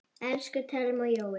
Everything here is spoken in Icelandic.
Elsku Thelma og Jói.